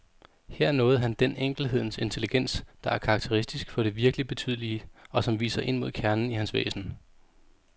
Her nåede han den enkelhedens intelligens, der er karakteristisk for det virkeligt betydelige, og som viser ind mod kernen i hans væsen.